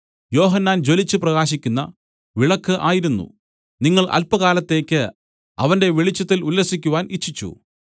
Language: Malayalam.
യോഹന്നാൻ ജ്വലിച്ചു പ്രകാശിക്കുന്ന വിളക്കു ആയിരുന്നു നിങ്ങൾ അല്പകാലത്തേക്ക് അവന്റെ വെളിച്ചത്തിൽ ഉല്ലസിക്കുവാൻ ഇച്ഛിച്ചു